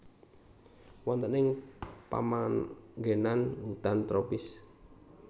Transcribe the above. Wonten ing pamanggenan hutan tropis